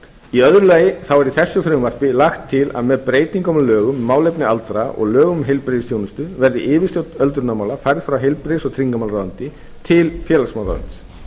í öðru lagi er með þessu frumvarpi lagt til að með breytingum á lögum um málefni aldraðra og lögum um heilbrigðisþjónustu verði yfirstjórn öldrunarmála færð frá heilbrigðis og tryggingamálaráðuneyti til félagsmálaráðuneytis